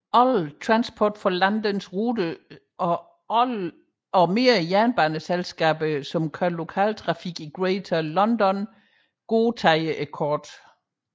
Alle Transport for Londons ruter samt flere jernbaneselskaber der kører lokaltrafik i Greater London godtager kortet